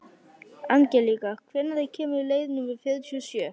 Angelíka, hvenær kemur leið númer fjörutíu og sjö?